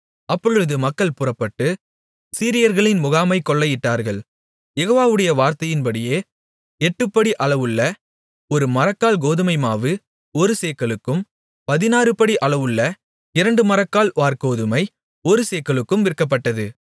அப்பொழுது மக்கள் புறப்பட்டு சீரியர்களின் முகாமைக் கொள்ளையிட்டார்கள் யெகோவாவுடைய வார்த்தையின்படியே எட்டுப்படி அளவுள்ள ஒருமரக்கால் கோதுமைமாவு ஒரு சேக்கலுக்கும் பதினாறுபடி அளவுள்ள இரண்டு மரக்கால் வாற்கோதுமை ஒரு சேக்கலுக்கும் விற்கப்பட்டது